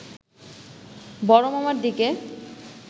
বড়মামার দিকে